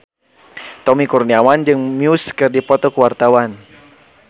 Tommy Kurniawan jeung Muse keur dipoto ku wartawan